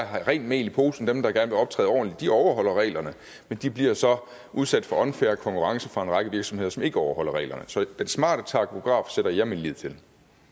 har rent mel i posen dem der gerne vil optræde ordentligt overholder reglerne men de bliver så udsat for unfair konkurrence fra en række virksomheder som ikke overholder reglerne så den smarte takograf sætter jeg min lid til